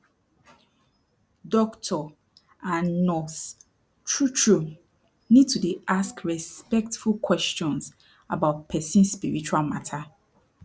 doctor and nurse trutru need to dey ask respectful questions about person spiritual mata